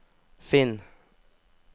finn